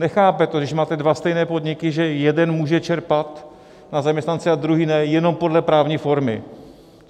Nechápe to, když máte dva stejné podniky, že jeden může čerpat na zaměstnance, a druhý ne, jenom podle právní formy.